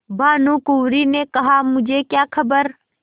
भानुकुँवरि ने कहामुझे क्या खबर